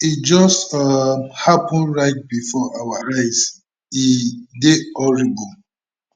e just um happun right bifor our eyes e dey horrible